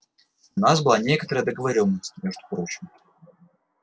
у нас была некоторая договорённость между прочим